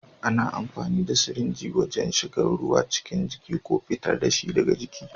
Ana amfani da sirinji wajen shigar da ruwa cikin jiki ko fitar da shi daga jiki.